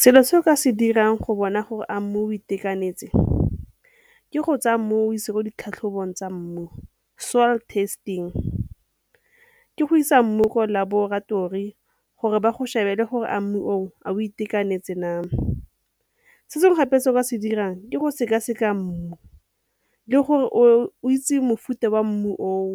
Selo se o ka se dirang go bona gore a mmu o itekanetse ke go tsaya mmu o go ise mo ditlhatlhobong tsa mmu soil testing. Ke go isa mmu ko laboratori gore ba go shebele gore a mmu oo a o itekanetse na. Se sengwe gape se o ka se dirang ke go sekaseka mmu le gore o itse mofuta wa mmu oo